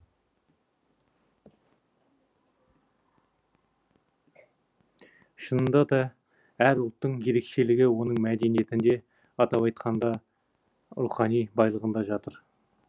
шынында да әр ұлттың ерекшелігі оның мәдениеттінде атап айтқанда рухани байлығында жатыр